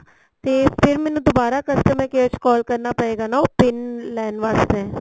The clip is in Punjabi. ਤੇ ਫ਼ਿਰ ਮੈਨੂੰ ਦੁਬਾਰਾ customer care ਚ call ਕਰਨਾ ਪਏਗਾ ਨਾ ਉਹ PIN ਲੈਣ ਵਾਸਤੇ